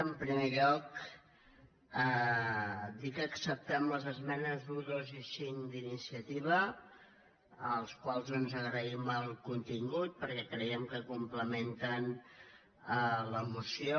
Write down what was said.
en primer lloc dir que acceptem les esmenes un dos i cinc d’iniciativa als quals doncs agraïm el contingut perquè creiem que complementen la moció